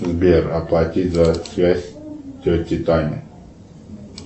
сбер оплатить за связь тете тане